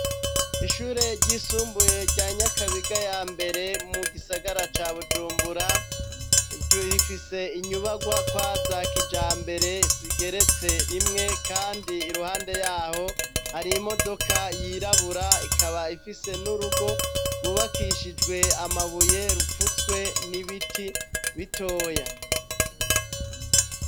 Ishure ryisumbuye rya nyakabiga ya mbere mu gisagara ca bujumbura rorifise inyubarwa kwa zakija mbere zigeretse rimwe, kandi iruhande yaho hari imodoka yirabura ikaba ifise n'urugo rwubakishijwe amabuye rupfutswe ni ibiti bitoya.